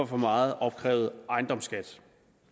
for meget opkrævet ejendomsskat